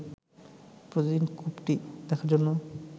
প্রতিদিন কূপটি দেখার জন্য